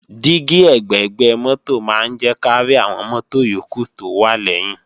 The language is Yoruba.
Dígí ẹ̀gbẹ̀gbẹ́ mọ́tò máa ń jẹ́ kárí àwọn mọ́tò yókù tó wà lẹ́yìn